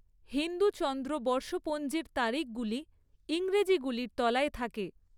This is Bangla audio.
হিন্দু চন্দ্র বর্ষপঞ্জির তারিখগুলি ইংরেজিগুলির তলায় থাকে।